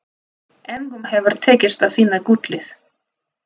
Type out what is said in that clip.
Engum hefur tekist að finna gullið.